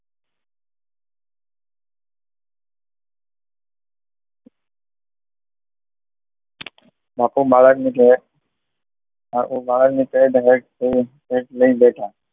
બાપુ બાળકને જોવે